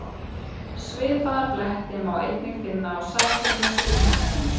Svipaða bletti má einnig finna á Satúrnusi og Neptúnusi.